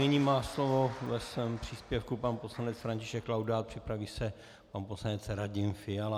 Nyní má slovo ve svém příspěvku pan poslanec František Laudát, připraví se pan poslanec Radim Fiala.